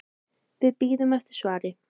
Við bíðum eftir svari.